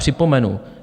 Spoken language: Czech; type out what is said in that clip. Připomenu.